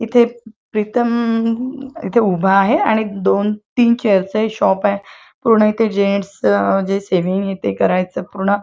आणि इथे प्रीतम इथे उभा आहे आणि दोन तीन खेळचे शॉपय पूर्ण जेंट्स जेसीबी ते करायच पूर्ण --